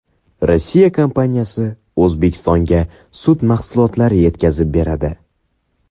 Rossiya kompaniyasi O‘zbekistonga sut mahsulotlari yetkazib beradi.